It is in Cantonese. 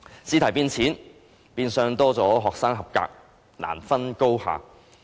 試題變淺，變相有更多學生及格，難分高下。